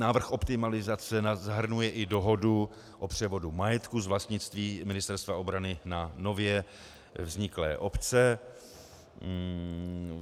Návrh optimalizace zahrnuje i dohodu o převodu majetku z vlastnictví Ministerstva obrany na nově vzniklé obce.